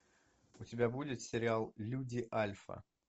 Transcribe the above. у тебя будет сериал люди альфа